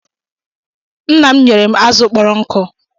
Nna m nyere m azụ̀ kpọrọ nkụ.